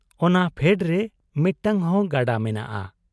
ᱚᱱᱟ ᱯᱷᱮᱰᱨᱮ ᱢᱤᱫᱴᱟᱹᱝ ᱦᱚᱸ ᱜᱟᱰᱟ ᱢᱮᱱᱟᱜ ᱟ ᱾